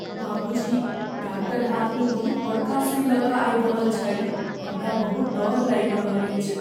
बाबूजी, डाक्टर हाथमे बहुत बड़का सुई लऽ कऽ आबि रहल छथि। हमरा बहुत डर लागि रहल अछि।